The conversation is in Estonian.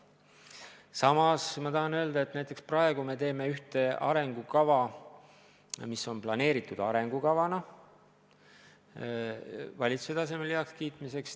Samas ma tahan öelda, et näiteks praegu me teeme ühte arengukava, mis on planeeritud arengukavana valitsuse tasemel heakskiitmiseks.